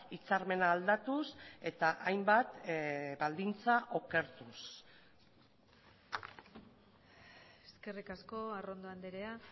hitzarmena aldatuz eta hainbat baldintza okertuz eskerrik asko arrondo andrea